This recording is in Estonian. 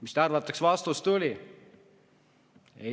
Mis te arvate, kas vastus tuli?